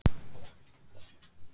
Þín, Bjarki, Nanna og Björn.